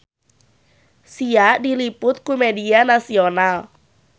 Sia diliput ku media nasional